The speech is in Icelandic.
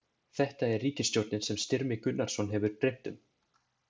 Þetta er ríkisstjórnin sem Styrmi Gunnarsson hefur dreymt um.